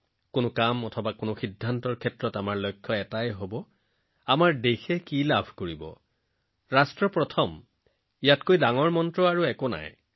আমি যিয়েই নকৰোঁ যি সিদ্ধান্ত লওঁ আমাৰ চূড়ান্ত লক্ষ্য হব লাগে আমাৰ দেশে কি পাব দেশৰ কি লাভ হব দেশ প্ৰথম এইটোৱেই একমাত্ৰ মন্ত্ৰ ইয়াতকৈ ডাঙৰ মন্ত্ৰ নাই